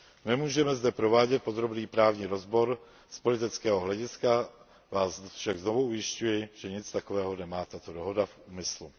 Nemůžeme zde provádět podrobný právní rozbor, z politického hlediska vás však znovu ujišťuji, že nic takového nemá tato dohoda v úmyslu.